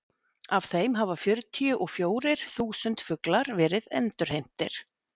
af þeim hafa fjörutíu og fjórir þúsund fuglar verið endurheimtir